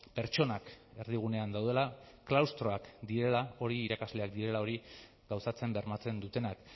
pertsonak erdigunean daudela klaustroak direla hori irakasleak direla hori gauzatzen bermatzen dutenak